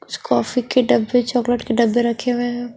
कुछ कॉफी के डब्बे चॉकलेट के डब्बे रखे हुए हैं।